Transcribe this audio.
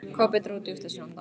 Kobbi dró djúpt að sér andann.